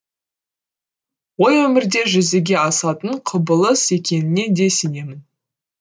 ой өмірде жүзеге асатын құбылыс екеніне де сенемін